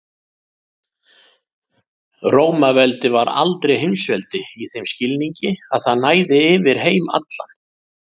Rómaveldi var aldrei heimsveldi í þeim skilningi að það næði yfir heim allan.